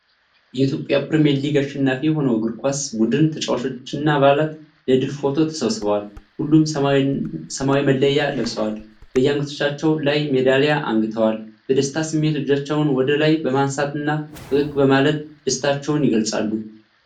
የኢትዮጵያ ፕሪሚየር ሊግ አሸናፊ የሆነው የእግር ኳስ ቡድን ተጫዋቾችና አባላት ለድል ፎቶ ተሰብስበዋል፡፡ ሁሉም ሰማያዊ መለያ ለብሰዋል፤ በየአንገታቸውም ላይ ሜዳሊያ አንግተዋል፡፡ በደስታ ስሜት እጆቻቸውን ወደ ላይ በማንሳትና ፈገግ በማለት ደስታቸውን ይገልጻሉ፡፡